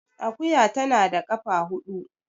Akuya tana da kafa hudu